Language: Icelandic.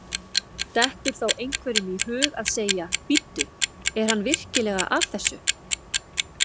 Dettur þá einhverjum í hug að segja: Bíddu, er hann virkilega að þessu?